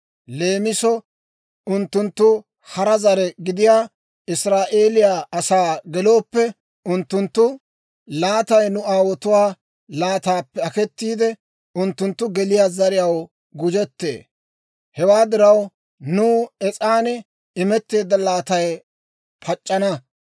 Leemisoo unttunttu hara zare gidiyaa Israa'eeliyaa asaa gelooppe, unttunttu laatay nu aawotuwaa laataappe aketiide, unttunttu geliyaa zariyaw gujettee. Hewaa diraw, nuw es's'an imetteedda laatay pac'c'ana.